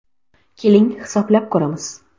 Keling, hisoblab ko‘ramiz.